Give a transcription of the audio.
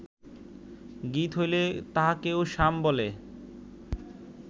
গীত হইলে তাহাকেও সাম বলে